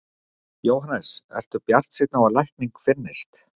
Jóhannes: Ertu bjartsýnn á að lækning finnist?